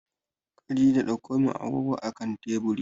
Khadijah ɗaukomin agogo a akan teburi